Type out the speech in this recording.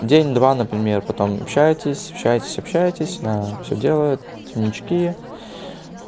день два например потом общаетесь общаетесь общаетесь она всё делает темнечки